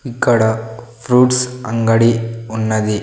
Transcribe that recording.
ఇక్కడ ఫ్రూట్స్ అంగడి ఉన్నది.